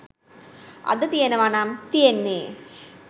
අද තියෙනවා නම් තියෙන්නේ